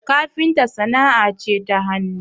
kafinta sana'a ce ta hannu